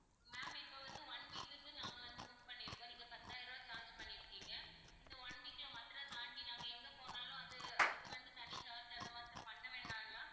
ma'am இப்போ வந்து one week க்கு நாங்க வந்து book பண்ணிருக்கோம் நீங்க பத்தாயிரம் ரூபாய் charge பண்ணிருக்கீங்க இந்த one week ல மதுரை தாண்டி நாங்க எங்க போனாலும் அது அதுக்கு வந்து தனி charge அந்த மாதிரி பண்ண வேண்டாம்ல?